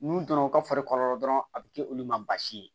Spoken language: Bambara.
N'u donna u ka fari kɔlɔlɔ dɔrɔn a bɛ kɛ olu ma baasi ye